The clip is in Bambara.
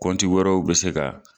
wɛrɛw bɛ se ka